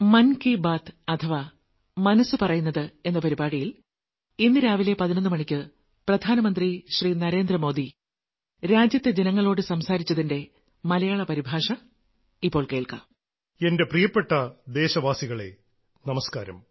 എൻറെ പ്രിയപ്പെട്ട ദേശവാസികളെ നമസ്കാരം